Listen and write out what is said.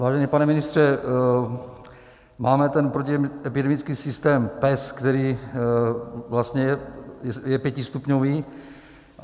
Vážený pane ministře, máme ten protiepidemický systém PES, který vlastně je pětistupňový.